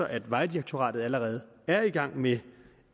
at vejdirektoratet allerede er i gang med